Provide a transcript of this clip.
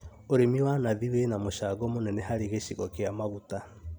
ũrĩmi wa nathi wĩna mũcango mũnene harĩ gĩcigo kĩa maguta